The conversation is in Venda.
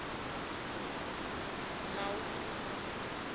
mauluma